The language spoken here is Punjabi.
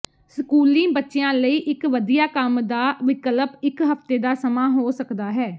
ਸਕੂਲੀ ਬੱਚਿਆਂ ਲਈ ਇੱਕ ਵਧੀਆ ਕੰਮ ਦਾ ਵਿਕਲਪ ਇੱਕ ਹਫਤੇ ਦਾ ਸਮਾਂ ਹੋ ਸਕਦਾ ਹੈ